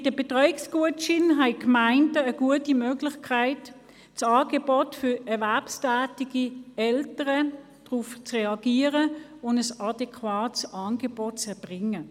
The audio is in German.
Mit den Betreuungsgutscheinen haben die Gemeinden eine gute Möglichkeit, mit einem Angebot für erwerbstätige Eltern zu reagieren und ein adäquates Angebot zu erbringen.